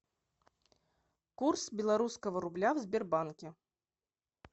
курс белорусского рубля в сбербанке